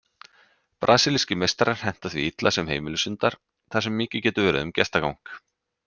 Brasilískir meistarar henta því illa sem heimilishundar þar sem mikið getur verið um gestagang.